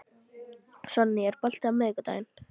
Sonný, er bolti á miðvikudaginn?